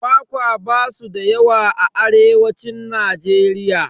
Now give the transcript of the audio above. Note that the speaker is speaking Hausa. Kwakwa basu da yawa a arewacin Najeriya